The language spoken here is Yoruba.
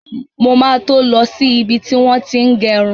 Mo ma to lọ sí ibi tí wọ́n ti ń gẹrun.